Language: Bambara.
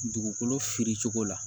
Dugukolo fili cogo la